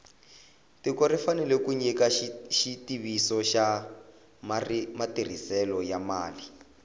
tiko ri fanele ku nyika xitiviso xa matirhiselo ya mali